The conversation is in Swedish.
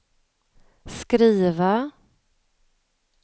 skriva